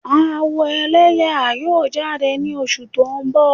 Awo ẹlẹyaa yoo jade ni oṣu to n bọ.